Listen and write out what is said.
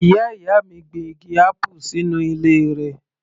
Ìyá ìyá mi gbin igi apple sínú ilé rẹ̀